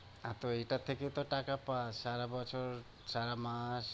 হ্যাঁ, তো এইটার থেকেও তো টাকা পাস সারা বছর সারা মাস।